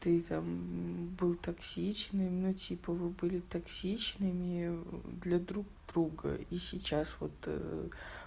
ты там был токсичный но типа вы были токсичными для друг друга и сейчас вот